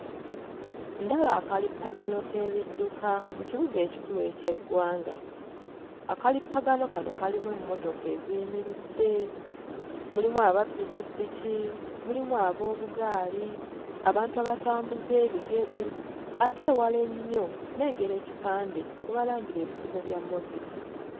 Ndaba akalippagano k'ebidduka mu kibuga ekikulu eky'eggwanga. Akalippagano kano kalimu emmotoka eziyimiridde, mulimu aba ppikippiki, mulimu ab'obugaali, abantu abatambuza ebigere, ate ewala ennyo nnengera ekipande kwe balangira ebizigo bya Moviti.